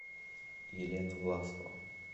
елена власова